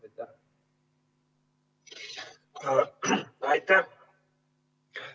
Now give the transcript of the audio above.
Aitäh!